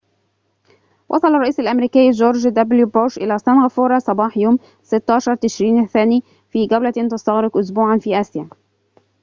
وصل الرئيس الأمريكي جورج دبليو بوش إلى سنغافورة صباح يوم 16 تشرين الثاني في جولةٍ تَستغرق أسبوعًا في آسيا